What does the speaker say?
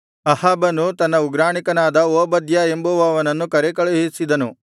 ಅಹಾಬನು ತನ್ನ ಉಗ್ರಾಣಿಕನಾದ ಓಬದ್ಯ ಎಂಬುವನನ್ನು ಕರೇಕಳುಹಿಸಿದನು